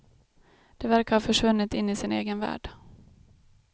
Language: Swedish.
De verkar ha försvunnit in i sin egen värld.